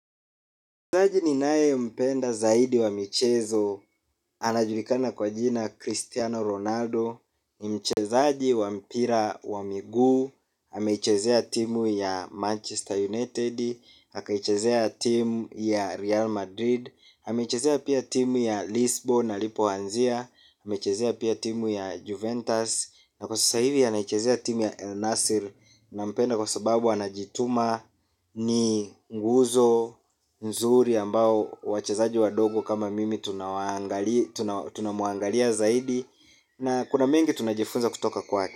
Mchezaji ninayempenda zaidi wa michezo, anajulikana kwa jina Cristiano Ronaldo. Ni mchezaji wa mpira wa miguu, amechezea timu ya Manchester United akaichezea timu ya Real Madrid ameichezea pia timu ya Lisbon alipoanzia amechezea pia timu ya Juventus. Na kwa sasa hivi anaichezea timu ya El Nassil. Nampenda kwa sababu anajituma ni nguzo, nzuri ambao wachezaji wadogo kama mimi tunamwangalia zaidi. Na kuna mengi tunajifunza kutoka kwake.